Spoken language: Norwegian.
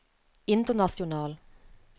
international